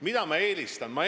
Mida ma eelistan?